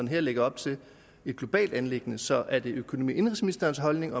her lægger op til et globalt anliggende så er det økonomi og indenrigsministerens holdning